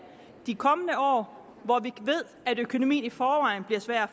de kommende år hvor vi ved at økonomien i forvejen bliver svær at